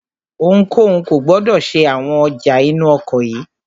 Ohunkóhun kò gbọdọ̀ ṣe àwọn ọjà inú ọkọ̀ yìí!